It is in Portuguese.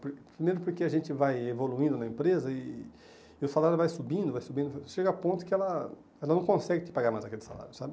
Por primeiro porque a gente vai evoluindo na empresa e e o salário vai subindo, vai subindo, chega a ponto que ela ela não consegue te pagar mais aquele salário, sabe?